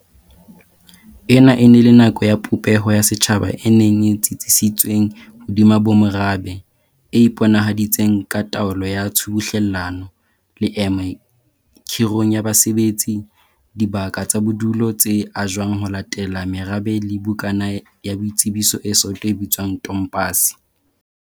Ena e ne e le nako ya popeho ya setjhaba e neng e tsitsisitsweng hodima bomorabe, e iponahaditseng ka taolo ya tshubuhlelano, leeme khirong ya basebetsi, dibaka tsa bodulo tse ajwang ho latela merabe le bukana ya boitsebiso e soto e bitswang tompase.